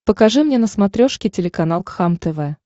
покажи мне на смотрешке телеканал кхлм тв